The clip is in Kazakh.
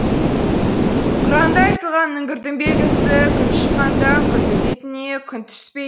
құранда айтылған үңгірдің белгісі күн шыққанда үңгірдің бетіне күн түспейді